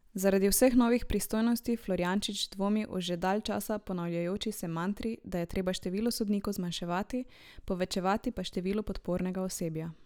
Zaradi vseh novih pristojnosti Florjančič dvomi o že dalj časa ponavljajoči se mantri, da je treba število sodnikov zmanjševati, povečevati pa število podpornega osebja.